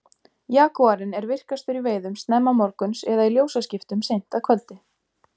jagúarinn er virkastur í veiðum snemma morguns eða í ljósaskiptum seint að kvöldi